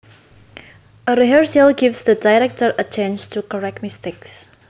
A rehearsal gives the director a chance to correct mistakes